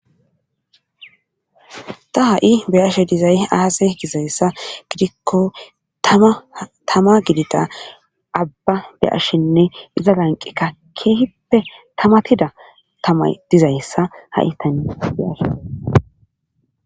ta ha7i be ashe dizay aasa gizayssa gidikko tama gidita abba be ashshinne iza lanqeka keehippe tamatida tama dizayssa ha7i tani be ashe